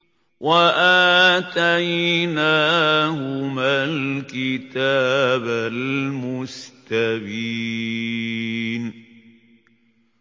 وَآتَيْنَاهُمَا الْكِتَابَ الْمُسْتَبِينَ